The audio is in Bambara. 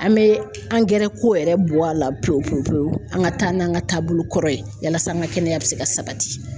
An bɛ angɛrɛ ko yɛrɛ bɔ a la pewu pewu pewu an ka taa n'an ka taabolo kɔrɔ ye yalasa an ka kɛnɛya bɛ se ka sabati